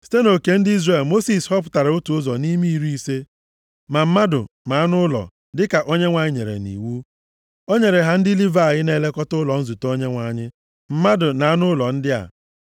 Site nʼoke ndị Izrel Mosis họpụtara otu ụzọ nʼime iri ise, ma mmadụ ma anụ ụlọ dịka Onyenwe anyị nyere nʼiwu. O nyere ha ndị Livayị na-elekọta ụlọ nzute Onyenwe anyị mmadụ na anụ ụlọ ndị a.